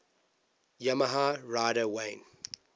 yamaha rider wayne